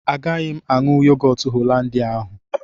Agaghị m aṅụ yogọt holandia ahụ